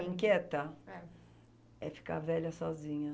Me inquieta... É. É ficar velha sozinha.